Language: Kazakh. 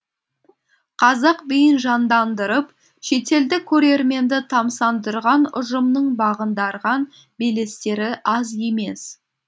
қазақ биін жандандырып шетелдік көрерменді тамсандырған ұжымның бағындырған белестері аз емес